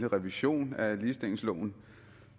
revision af ligestillingsloven